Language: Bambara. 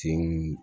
Senw